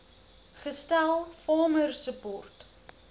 gestel farmer support